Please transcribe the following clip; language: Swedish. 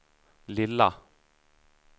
lilla